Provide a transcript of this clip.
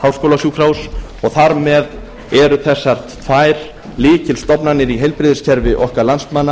háskólasjúkrahúss og þar með eru þessar þær lykilstofnanir í heilbrigðiskerfi okkar landsmanna